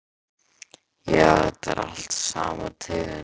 Já, þetta er allt sama tegund.